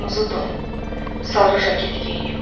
Qırmızı don, sarı jaket geyinib.